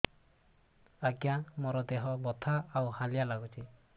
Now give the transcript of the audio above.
ଆଜ୍ଞା ମୋର ଦେହ ବଥା ଆଉ ହାଲିଆ ଲାଗୁଚି